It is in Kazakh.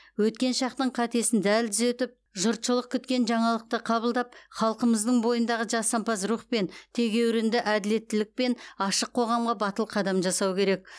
өткен шақтың қатесін дәл түзетіп жұртшылық күткен жаңалықты қабылдап халқымыздың бойындағы жасампаз рух пен тегеурінді әділеттілікпен ашық қоғамға батыл қадам жасау керек